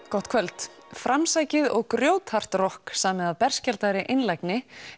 gott kvöld framsækið og grjóthart rokk samið af berskjaldaðri einlægni